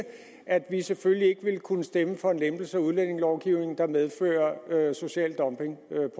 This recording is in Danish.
at vi selvfølgelig ikke vil kunne stemme for en lempelse af udlændingelovgivningen der medfører social dumping